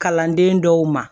Kalanden dɔw ma